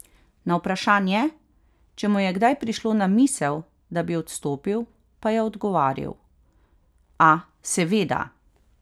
Na vprašanje, če mu je kdaj prišlo na misel, da bi odstopil, pa je odgovoril: 'A, seveda.